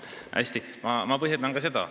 Hästi, ma põhjendan ka seda.